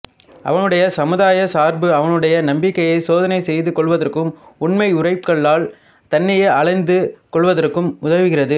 அவனுடைய சமுதாயச் சார்பு அவனுடைய நம்பிக்கையை சோதனை செய்து கொள்வதற்கும் உண்மை உரைக்கல்லால் தன்னையே அளந்து கொள்வதற்கும் உதவுகிறது